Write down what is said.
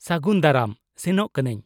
-ᱥᱟᱹᱜᱩᱱ ᱫᱟᱨᱟᱢ ᱾ ᱥᱮᱱᱚᱜ ᱠᱟᱹᱱᱟᱹᱧ!